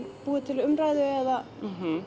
búi til umræðu eða